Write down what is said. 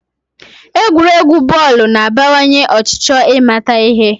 Egwuregwu bọọlụ na-abawanye ọchịchọ ịmata ihe